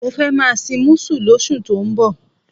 Mo fẹ́ máa sin músù lóṣù tó ń bọ̀.